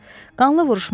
Qanlı vuruşma oldu.